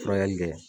Furakɛli kɛ